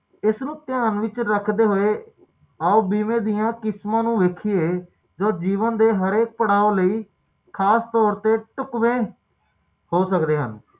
ਇਹ ਸਾਨੂੰ ਪਤਾ ਕਿ ਮੌਤ ਦਾ ਕੋਈ ਵਕ਼ਤ ਨਹੀਂ ਤੇ ਇਹ ਅਜੇਹੀ ਘਟਨਾ ਕਿ ਜਿਹੜੀ ਕਦੇ ਵੀ ਵਾਪਰ ਸਕਦੇ ਆ ਤੇ ਕਿਸੇ ਨਾਲ ਵੀ ਵਾਪਰ ਸਕਦੀ ਆ ਤੇ